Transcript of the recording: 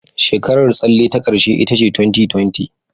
Shekarar tsalle ta ƙarshe ita ce 2020.